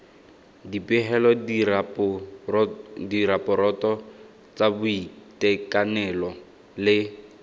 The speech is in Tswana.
dipegelo diraporoto tsa boitekanelo le